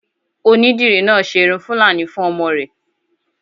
Onídìrí náà ṣe irun fúlàní fún ọmọ rẹ̀